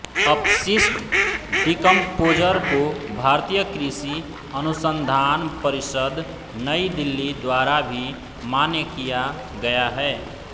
अपशिष्ट डीकम्पोज़र को भारतीय कृषि अनुसन्धान परिषद् नई दिल्ली द्वारा भी मान्य किया गया है